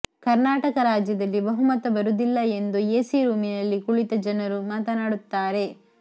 ಕರ್ನಾಟಕ ರಾಜ್ಯದಲ್ಲಿ ಬಹುಮತ ಬರುವುದಿಲ್ಲ ಎಂದು ಎಸಿ ರೂಮಿನಲ್ಲಿ ಕುಳಿತ ಜನರು ಮಾತನಾಡುತ್ತಾರೆ